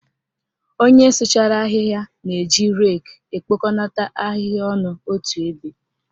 Onye sụchara ahịhịa na-eji reki ekpokonata ahịhịa ọnụ otu ebe.